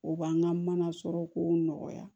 O b'an ka mana sɔrɔ ko nɔgɔya